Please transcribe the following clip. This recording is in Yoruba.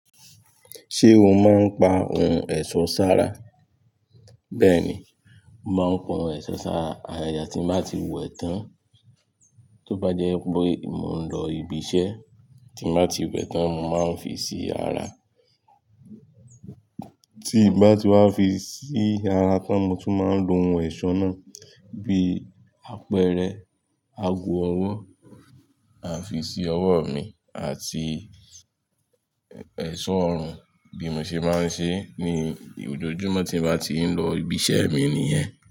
Ṣé o máa ń pa ohun ẹ̀ṣọ́ sára? Bẹ́ẹ̀ni, mo máa ń kun ohun ẹ̀ṣọ́ sára. Àgagà tí n bá ti wẹ̀ tán, tó bá jẹ́ wipé mò ń lọ ibi iṣẹ́ tí n bá ti wẹ̀ tán. Mo máa ń fi sí ara. Tí n bá ti wá fi sí ara tán, mo tún máa ń lo ohun ẹ̀ṣọ́ náà bí apẹ̀rẹ̀, aago ọwọ́, à fi si ọwọ́ mi àti ẹ̀ṣọ́ ọrùn bí mo ṣe máa ń ṣe ní ojoojúmọ́ tí n bá ti ń lọ ibi iṣẹ́ mi nìyẹn.